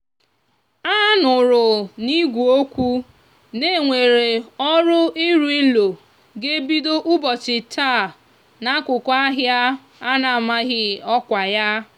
anúrú n'igwe okwu na enwere òrú irú ilo ga ebido úbòchi taa n'akúkú ahia a n'amaghi oòkwa ya.